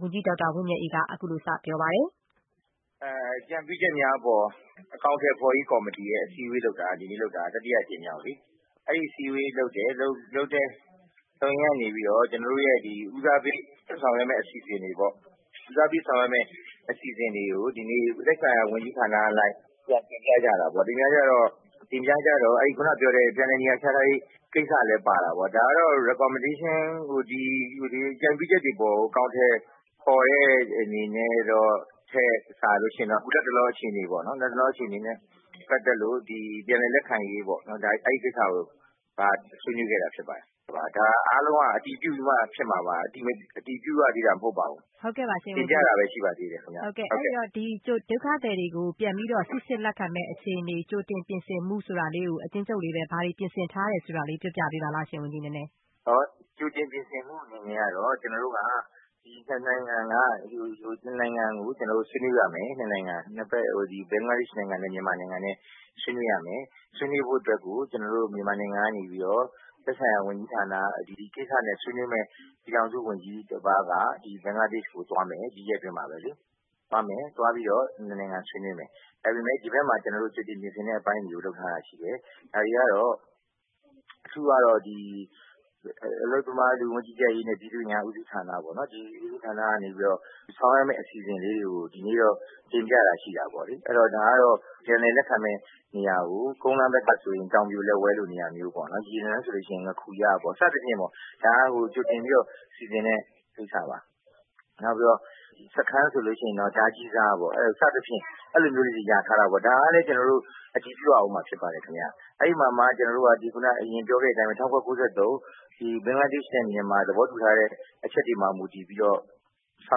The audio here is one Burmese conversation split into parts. ဝန်ကြီး ဒေါက်တာ ဝင်းမြတ်အေး။ ။ အကြံပြုချက်များအပေါ်အကောင် အထည်ဖော်ရေးဆွေးနွေးပွဲကော်မတီ က အစည်းအဝေးလုပ်တာ ဒီကနေ့ လုပ်တာက တတိယအကြိမ်မြောက်လေ၊ အဲဒီအစည်းအဝေးလုပ်တယ် လုပ်ရင်းကနေပြီးတော့ ကျနော်တို့ရဲ့ ဦးစားပေးဆောင်ရွက်မယ့်အစီအစဉ်တွေပေါ့ အဲဒါတွေကို ဒီနေ့ သက်ဆိုင်ရာ ဝန်ကြီးဌာနအလိုက် တင်ပြကြတာပေါ့။ တင်ပြတော့ ခုနကပြောတဲ့အလိုက် ပြန်လည်နေရာချထားရေးကိစ္စလည်းပါတာပေါ့၊ ဒါကတော့ ဒီအကြုံပြုချက်တွေအပေါ်ကို အကောင်အထည်ဖော်တဲ့အနေအနဲ့တော့ အခုလက်တလောအခြေအနေပေါ့နော် ၊ အဲဒါနဲ့ ပတ်သက်လို့ ပြန်လည်လက်ခံရေးပေါ့နော် အဲဒီကိစ္စကို ဆွေးနွေးခဲ့တာဖြစ်ပါတယ်။ ဒါအားလုံးက အတည်ပြုပြီးတော့မှဖြစ်မှာပါ တင်ပြတာပဲရှိပါသေးတယ်။ မေး ။ ။ အဲဒီတော့ ဒုက္ခသည်တွေကို စိစစ်ပြီးတော့ ပြန်လည်လက်ခံမယ့်အခြေအနေ ကြိုတင်ပြင်ဆင်မှုဆိုတာလေးကို အကျဉ်းချုပ်လေးဘာတွေပြင်ဆင်ထားတယ်ဆိုတာလေး ပြောပြပေးပါလားရှင့်။ ဝန်ကြီး ဒေါက်တာ ဝင်းမြတ်အေး။ ။ ကြိုတင်ပြင်ဆင်မှုအနေနဲ့ ကျနော်တို့ ၂ နိုင်ငံဆွေးနွေးပါမယ်။ ၂ ဖက် ဘင်္ဂလားဒေ့ရှ်နိုင်ငံ နဲ့ မြန်မာနိုင်ငံနဲ့ ဆွေးနွေးပါမယ်။ ဆွေးနွေးဖို့အတွက်ကို ကျနော်တို့ မြန်မာနိုင်ငံကနေပြီးတော့ ဒီကိစ္စနဲ့ဆွေးနွေးမယ့် သက်ဆိုင်ရာဝန်ကြီးဌာန ပြည်ထောင်စုဝန်ကြီးတပါးက ဘင်္ဂလားဒေ့ရှ်ကိုသွားမယ် ၊ ဒီရက်အတွင်းမှာပဲလေ။ သွားပြီးတော့ ၂ နိုင်ငံဆွေးနွေးပါမယ်။ ဒါပေမယ့် ဒီဘက်မှာ ကျနော်တို့ ကြိုတင်ပြင်ဆင်မှုတွေ လုပ်ထားတဲ့အပိုင်းတွေရှိတယ်။ ဒါတွေကတော့ အခုအလုပ်သမားလူဝန်မူကြီးကြပ်ရေးနဲ့ ပြည်သူ့အင်အားဦးစီးဌာန ကနေပြီးတော့ ဆောင်ရွက်မယ့်အစီအစဉ်လေးကို ဒီနေ့တော့ တင်ပြတာရှိတာပေါ့လေ။ ဒါကတော့ ပြန်လည်လက်ခံမယ့်နေရာကို ကုန်းလမ်းဘက်ကဆိုရင် တောင်ပြိုလက်ဝဲလိုနေရာမျိုးပေါ့လေ၊ ရေလမ်းဆိုရင် ငါးခူရပေါ့နော် စသဖြင့်ပေါ့ ကြိုတင်စီစဉ်တဲ့ကိစ္စပါ။ စခန်းဆိုလို့ရှိရင်တော့ ဒါးကြီးစားပေါ့နော် စသဖြင့် အဲလိုမျိုးလေးတွေ ရာထားတာပေါ့နော် ၊ ဒါကလည်းကျနော်တို့ အတည်ပြုရမှာဖြစ်ပါတယ်ခင်ဗျ။ အဲဒီမှာမှ ကျနော်တို့က အရင်ပြောခဲ့တဲ့အတိုင်းပဲ ၁၉၉၃ ဘင်္ဂလားဒေ့ရှ်နိုင်ငံ နဲ့ မြန်မာနိုင်ငံသဘာတူထားတဲ့အချက်တွေမှာ မူတည်ပြီးတော့ ဆော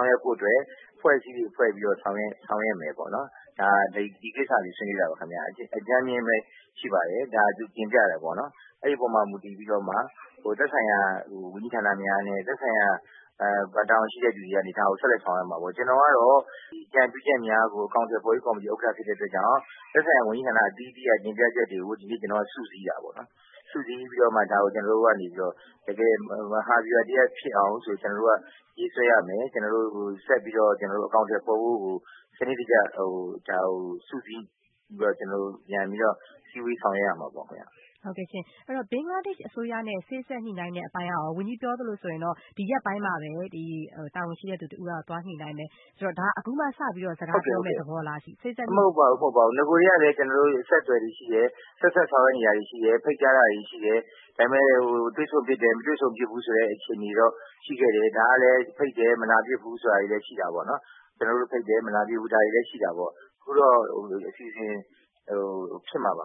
င်ရွက်ဖို့အတွက် အဖွဲ့အစည်းတွေဖွဲ့ပြီးတော့ ဆောင်ရွက်မယ်ပေါ့နော်။ ဒီကိစ္စတွေဆွေးနွေးတာပါခင်ဗျ အကြမ်းဖျဉ်းပဲရှိပါတယ်၊ အဲဒီအပေါ်မှာမူတည်ပြီးတော့ သက်ဆိုင်ရာ ဝန်ကြီးဌာနများနဲ့ သက်ဆိုင်ရာတာဝန်ရှိသူတွေရဲ့အနေအထား တွေကို ဆက်လက်ဆောင်ရွက်မှာပေါ့ ကျနော်ကတော့ ဒီအကြံပြုချက်များကို အကောင်အထည်ဖော်ရေးကော်မတီဖြစ်တဲ့အတွက်ကြောင့် သက်ဆိုင်ရာ ဝန်ကြီးဌာနအသီးသီးရဲ့ တင်ပြချက်တွေကို ကျနော်တို့ စုစည်းတာပေါ့နော် ၊ စုစည်းပြီးတော့မှ ကျနော်တို့ကနေပြီးတော့ တကယ့် မဟာဗျူဟာတရပ်ဖြစ်အောင် ရေးဆွဲရမယ်၊ ကျနော်တို့ ဆက်ပြီးတော့ အကောင်အထည်ဖော်ဖို့ကို စနစ်တကျ ဒါကိုစုစည်းပြီးတော့ ကျနော်တို့ စည်းဝေးဆောင်ရွက်ရမှာပေါ့ခင်ဗျ။ မေး။ ။ဘင်္ဂလားဒေ့ရှ်အစိုးရနဲ့ စေ့စပ်ညှိနှိုင်းတဲ့အပိုင်းက ဝန်ကြီးပြောသလိုဆိုရင် ဒီရက်ပိုင်းမှာပဲ တာဝန်ရှိတဲ့လူတွေက သွားညှိနှိုင်းမယ် ၊ ဆိုတော့ ဒါက အခုမှစပြီးတော့ စကားပြောမယ့်သဘောလားရှင့်။ ဝန်ကြီး ဒေါက်တာ ဝင်းမြတ်အေး။ ။ မဟုတ်ပါဘူး နဂိုကတည်းကလည်း ကျနေ်ာတို့ အဆက်အသွယ်တွေရှိတယ် ဆက်စပ်ဆောင်ရွက်နေတာတွေရှိတယ်၊ ဖိတ်ကြားတာတွေရှိတယ်၊ ဒါပေမယ့် တွေ့ဆုံဖြစ်တယ် မတွေ့ဆုံဖြစ်ဘူးဆိုတဲ့အခြေအနေကတော့ ရှိခဲ့တယ် ဒါကလည်း ဖိတ်တယ် မလာဖြစ်ဘူး ဆိုတဲ့အခြေအနေ ရှိတာပေါ့နော်၊ ကျနော်တို့က ဖိတ်တယ် မလာဖြစ်ဘူး ဒါတွေလည်းရှိတာပေါ့ အခုတော့ အစီအစဉ်တွေ ဖြစ်မှာပါခ